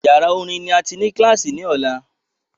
Yàrá orin ni a tí ní kílàsì ní ọ̀la